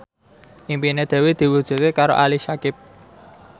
impine Dewi diwujudke karo Ali Syakieb